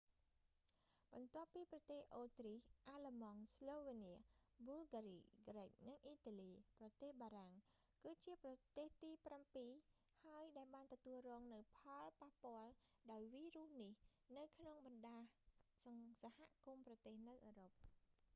បន្ទាប់ពីប្រទេសអូទ្រីស អាល្លឺម៉ង់ ស្លូវើនៀ ប៊ុលហ្គារី គ្រិច និងអ៊ីតាលី ប្រទេសបារាំង គឺជាប្រទេសទីប្រាំពីរ ហើយ ដែលបានទទួលរងនូវផលប៉ះពាល់ដោយវីរុសនេះនៅក្នុងបណ្តាសហគមន៍ប្រទេសនៅអឺរ៉ុប